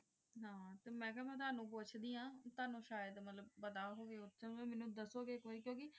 ਤੁਸਿਮੈਨ ਕਿਯਾ ਤੁਵਾਉਣ ਪੋਚ੍ਦੀਆਂ ਤੁਵਾਉਣ ਸ਼ੇਡ ਪਤਾ ਹੁਵ੍ਯ